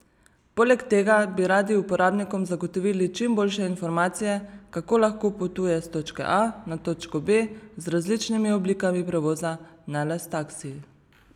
Poleg tega bi radi uporabnikom zagotovili čim boljše informacije, kako lahko potuje s točke A na točko B z različnimi oblikami prevoza, ne le s taksiji.